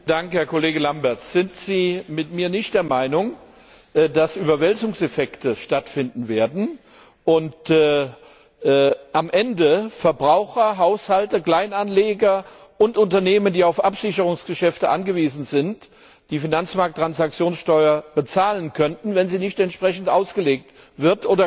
Herr Kollege Lamberts, sind Sie nicht mit mir der Meinung, dass Überwälzungseffekte stattfinden werden und am Ende Verbraucher, Haushalte, Kleinanleger und Unternehmen, die auf Absicherungsgeschäfte angewiesen sind, die Finanzmarkttransaktionssteuer bezahlen könnten, wenn sie nicht entsprechend ausgelegt wird?